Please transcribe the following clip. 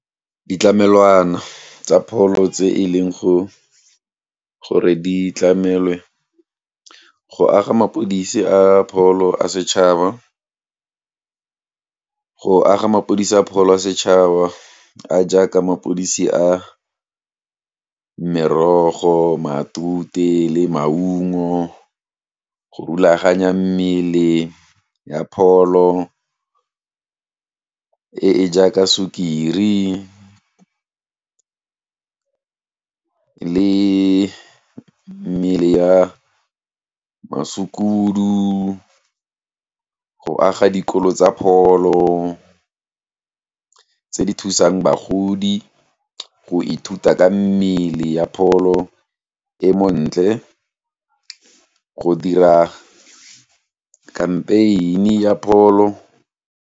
Ditlamelwana tsa pholo tse e leng go gore di tlamelwe go aga mapodisi a pholo a setšhaba, go aga mapodisa a pholo a setšhaba a jaaka mapodisi a merogo, matute le maungo go rulaganya mmele ya pholo e e jaaka sukiri le mmele ya masukudu go aga dikolo tsa pholo tse di thusang bagodi go ithuta ka mmele ya pholo e montle go dira kgampeini ya pholo.